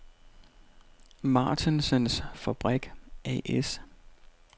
Martensens Fabrik A/S